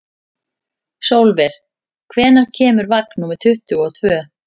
Sólver, hvenær kemur vagn númer tuttugu og tvö?